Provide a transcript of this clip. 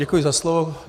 Děkuji za slovo.